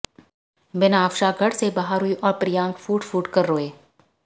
बिनाफ्शा घर से बाहर हुईं और प्रियांक फूट फूटकर रोए